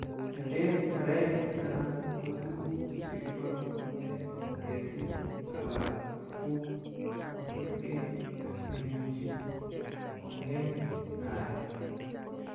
Meten murek anan ko tuguk chekibolu en ketik alak tuguk, kosiibge ak neimuch kong'em areek.